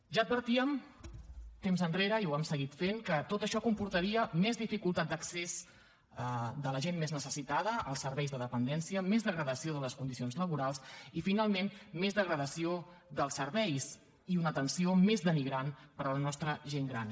ja advertíem temps enrere i ho hem seguit fent que tot això comportaria més dificultat d’accés de la gent més necessitada als serveis de dependència més degradació de les condicions laborals i finalment més degradació dels serveis i una atenció més denigrant per a la nostra gent gran